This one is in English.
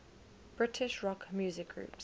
british rock music groups